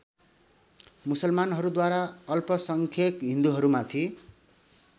मुसलमानहरूद्वारा अल्पसङ्ख्यक हिन्दुहरूमाथि